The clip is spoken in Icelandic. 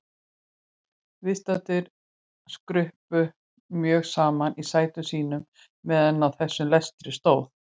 Viðstaddir skruppu mjög saman í sætum sínum meðan á þessum lestri stóð.